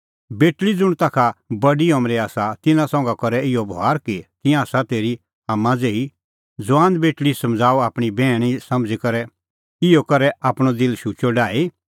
बेटल़ी ज़ुंण ताखा बडी अमरे आसा तिन्नां संघै करै इहअ बभार कि तिंयां आसा तेरी आम्मां ज़ेही ज़ुआन बेटल़ी समझ़ाऊ आपणीं बैहण समझ़ी करै इहअ करै आपणअ दिल शुचअ डाही